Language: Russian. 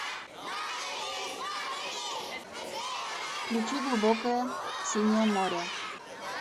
включи глубокое синее море